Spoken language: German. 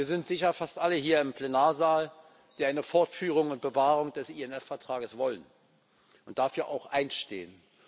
Wir sind sicher fast alle hier im Plenarsaal, die eine Fortführung und Bewahrung des INF Vertrages wollen und dafür auch einstehen.